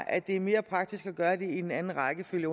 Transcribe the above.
at det er mere praktisk at gøre det i en anden rækkefølge